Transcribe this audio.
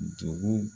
Dugu